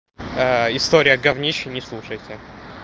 аа история гавнище не слушайте